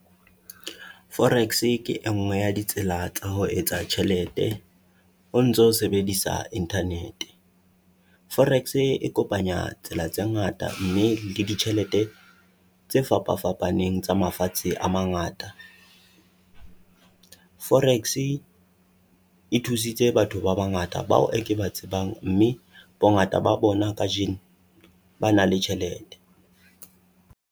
Forex ke e nngwe ya ditsela tsa ho etsa tjhelete o ntso sebedisa internet-e, forex-e e kopanya tsela tse ngata mme le ditjhelete tse fapa-fapaneng tsa mafatshe a mangata. Forex-e e thusitse batho ba bangata bao e ke ba tsebang mme bongata ba bona kajeno ba na le tjhelete.